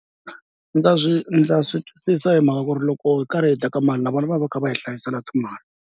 Ndza swi ndza swi twisisa hi mhaka ku ri loko hi karhi hi teka mali na vona va va kha va hi hlayisela timali.